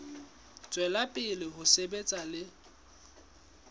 tswela pele ho sebetsa le